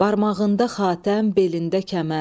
Barmağında xatəm, belində kəmər.